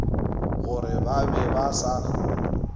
gore ba be ba sa